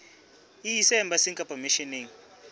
e ise embasing kapa misheneng